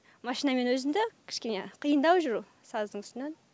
машинамен өзінде кішкене қиындау жүру саздың үстінен